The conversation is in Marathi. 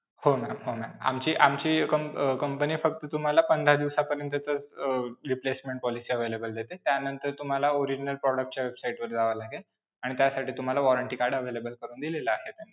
हो ma'am. हो ma'am. आमची आमची comp अं company फक्त तुम्हाला पंधरा दिवसापर्यंतच अं replacement policy available देते त्यानंतर तुम्हाला original product च्या website वर जावं लागेल आणि त्यासाठी तुम्हाला warranty card available करून दिलेलं आहे.